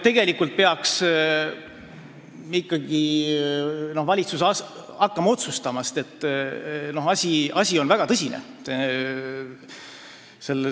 Tegelikult peaks valitsus hakkama otsustama, sest asi on väga tõsine.